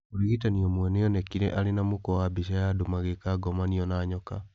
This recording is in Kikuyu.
Mũrigitani ũmwe nĩ onekire arĩ na mũkwa wa mbica ya andũ magĩka ngomanio na nyoka